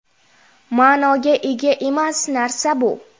Ma’noga ega emas narsa bu.